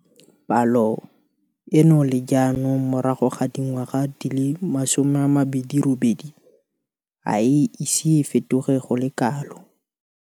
Palo eno le jaanong morago ga dingwaga di le 28 ga e ise e fetoge go le kalo.